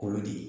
Kolo de ye